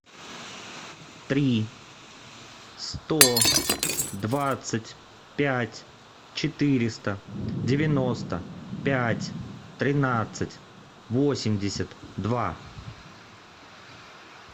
три сто двадцать пять четыреста девяносто пять тринадцать восемьдесят два